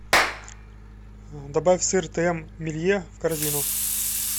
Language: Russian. добавь сыр тм милье в корзину